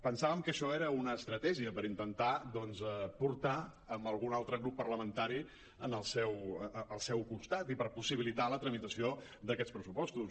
pensàvem que això era una estratègia per intentar doncs portar algun altre grup parlamentari al seu costat i per possibilitar la tramitació d’aquests pressupostos